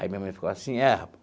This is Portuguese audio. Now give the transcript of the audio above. Aí minha mãe ficou assim, é.